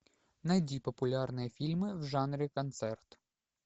найди популярные фильмы в жанре концерт